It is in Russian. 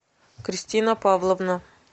кристина павловна